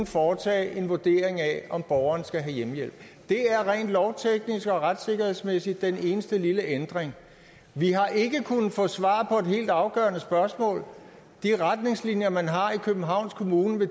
foretage en vurdering af om borgeren skal have hjemmehjælp det er rent lovteknisk og retssikkerhedsmæssigt den eneste lille ændring vi har ikke kunnet få svar på et helt afgørende spørgsmål vil de retningslinjer man har i københavns kommune